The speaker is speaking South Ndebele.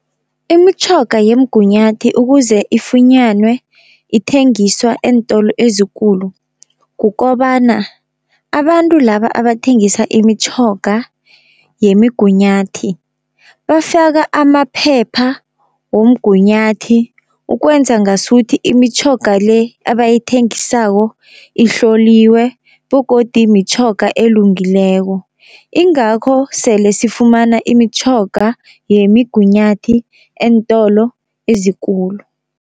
Imitjhoga yemgunyathi ukuze ifunyanwe ithengiswa eentolo ezikulu. Kukobana abantu laba abathengisa imitjhoga yemigunyathi bafaka amaphepha womgunyathi ukwenza ngasuthi imitjhoga le abayithengisako ihloliwe, begodu mitjhoga elungileko. Ingakho sele sifumana imitjhoga yemigunyathi eentolo ezikulu.